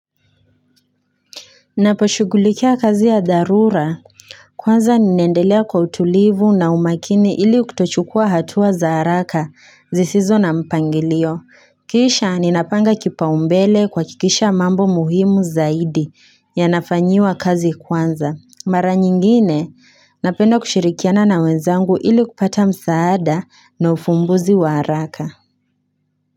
Naposhugulikia kazi ya dharura kwanza ninaendelea kwa utulivu na umakini ili kutochukua hatua za haraka zisizo na mpangilio. Kisha ninapanga kipa umbele kuha kikisha mambo muhimu zaidi ya nafanyiwa kazi kwanza. Mara nyingine napenda kushirikiana na wenzangu ili kupata msaada na ufumbuzi wa haraka.